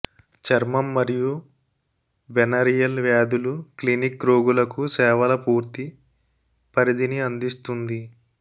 చర్మం మరియు వెనెరియల్ వ్యాధులు క్లినిక్ రోగులకు సేవల పూర్తి పరిధిని అందిస్తుంది